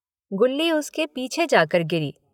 गुल्ली उसके पीछे जाकर गिरी।